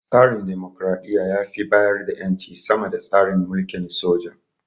Tsarin dimokuraɗiyya ya fi bayar da ƴanci sama da tsarin mulkin soja.